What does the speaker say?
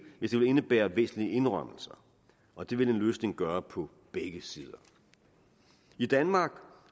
hvis det indebærer væsentlige indrømmelser og det vil en løsning gøre på begge sider i danmark